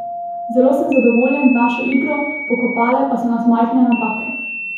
Zelo sem zadovoljen z našo igro, pokopale pa so nas majhne napake.